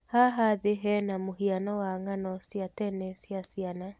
Haha thĩ he na mũhiano wa ng'ano cia tene cia ciana.